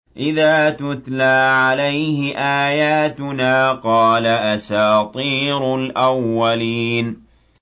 إِذَا تُتْلَىٰ عَلَيْهِ آيَاتُنَا قَالَ أَسَاطِيرُ الْأَوَّلِينَ